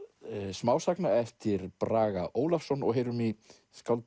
smásagna eftir Braga Ólafsson og heyrum í skáldi